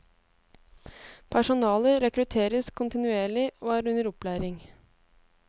Personale rekrutteres kontinuerlig og er under opplæring.